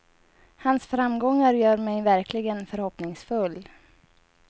Hans framgångar gör mig verkligen förhoppningsfull.